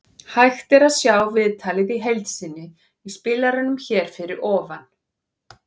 Hægt er að sjá viðtalið í heild sinni í spilaranum hér fyrir ofan.